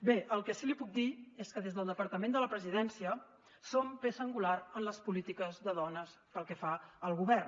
bé el que sí que li puc dir és que des del departament de la presidència som peça angular en les polítiques de dones pel que fa al govern